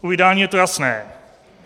U vydání je to jasné.